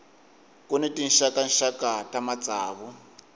ku ni tinxakaxaka ta matsavu